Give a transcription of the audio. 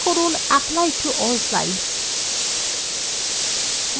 click করুন apply to all slides